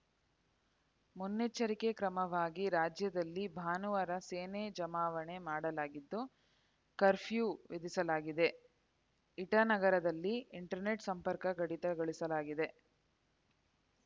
ಮುನ್ನೆಚ್ಚರಿಕೆ ಕ್ರಮವಾಗಿ ರಾಜ್ಯದಲ್ಲಿ ಭಾನುವಾರ ಸೇನೆ ಜಮಾವಣೆ ಮಾಡಲಾಗಿದ್ದು ಕರ್ಫ್ಯೂ ವಿಧಿಸಲಾಗಿದೆ ಇಟಾನಗರದಲ್ಲಿ ಇಂಟರ್ನೆಟ್‌ ಸಂಪರ್ಕ ಕಡಿತಗೊಳಿಸಲಾಗಿದೆ